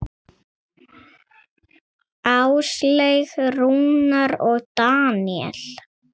Áslaug, Rúnar og Daníel.